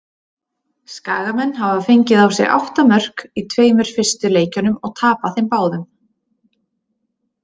Skagamenn hafa fengið á sig átta mörk í tveimur fyrstu leikjunum og tapað þeim báðum.